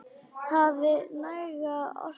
Hafi næga orku.